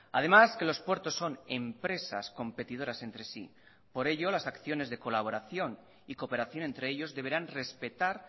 además que los puertos son empresas competidoras entre sí por ello las acciones de colaboración y cooperación entre ellos deberán respetar